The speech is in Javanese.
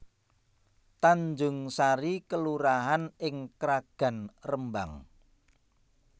Tanjungsari kelurahan ing Kragan Rembang